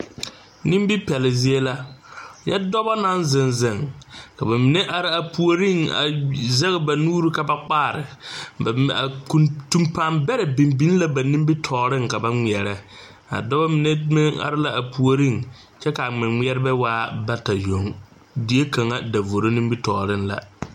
Nimipɛlle zie la nyɛ dɔba naŋ zeŋ zeŋ ka mine are a puoriŋ a zɛge ba nuure ka ba kpaare ba min a kuntuŋ paa bɛrɛ biŋ la ba nimitɔɔreŋ ka ba ŋmeɛrɛ a dɔba mine meŋ are la a puoriŋ kyɛ ka a ŋmɛŋmɛrebɛ waa bata yoŋ die kaŋa davoro nimitɔɔreŋ la.